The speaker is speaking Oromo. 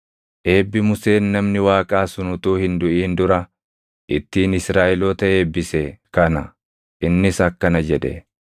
Eebbi Museen namni Waaqaa sun utuu hin duʼin dura ittiin Israaʼeloota eebbise kana;